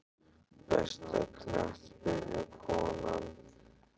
Besta knattspyrnukonan?